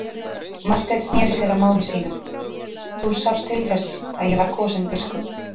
Marteinn sneri sér að mági sínum:-Þú sást til þess að ég var kosinn biskup.